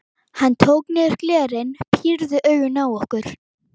Hann tók niður glerin, pírði augun á okkur.